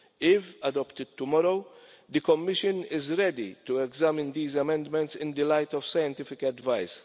If adopted tomorrow, the Commission is ready to examine these amendments in the light of scientific advice.